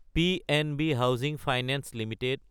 PNB housing finance Ltd